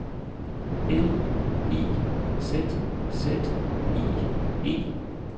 L I Z Z I E